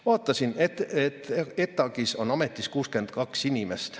Vaatasin, et ETAg-is on ametis 62 inimest.